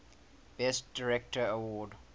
best director award